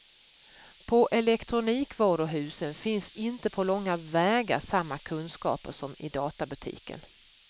På elektronikvaruhusen finns inte på långa vägar samma kunskaper som i databutiken.